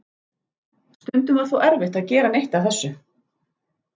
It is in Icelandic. Stundum var þó erfitt að gera neitt af þessu.